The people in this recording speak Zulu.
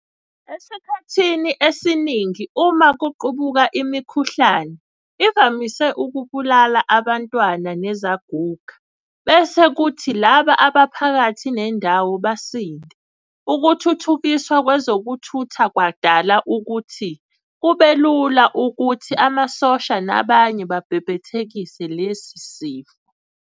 Esikhathinii esiningi uma kuqubuka imikhukhlane ivamise ukubulala abantwana nazaguga, bese kuthi laba abaphakathi nendawo basinde. Ukuthuthukiswa kwezokuthutha kwadala ukuthi kube lula ukuthi amasosha nabanye bebhebhethekise lesi sifo.